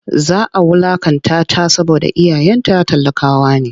Za a wulaƙantata saboda iyayenta talakawa ne.